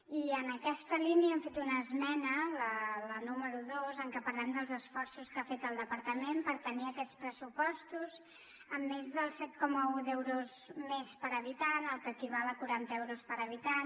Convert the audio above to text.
i en aquesta línia hem fet una esmena la número dos en què parlem dels esforços que ha fet el departament per tenir aquests pressupostos amb més del set coma un d’euros més per habitant el que equival a quaranta euros per habitant